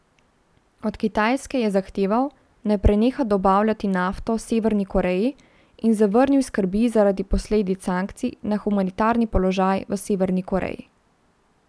Od Kitajske je zahteval, naj preneha dobavljati nafto Severni Koreji, in zavrnil skrbi zaradi posledic sankcij na humanitarni položaj v Severni Koreji.